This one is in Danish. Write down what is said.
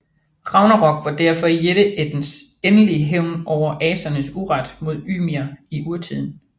Ragnarok var derfor jætteættens endelig hævn over asernes uret mod Ymir i urtiden